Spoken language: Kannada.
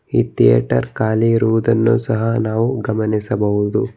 ಈ ಥಿಯೇಟರ್ ಖಾಲಿ ಇರುವುದನ್ನು ಸಹ ನಾವು ಗಮನಿಸಬಹುದು.